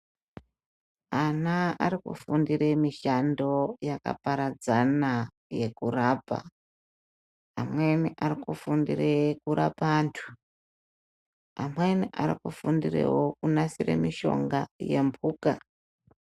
Ana arikufundire mishando yakaparadzana yekurapa amweni arikufundire kurapa antu amweni arikufundirewo kunasira mishonga yembuka.